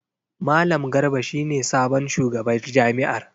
Malam Garba shi ne sabon shugabar jami’ar.